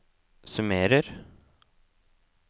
summerer